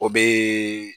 O bɛ